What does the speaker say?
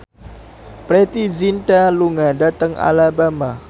Preity Zinta lunga dhateng Alabama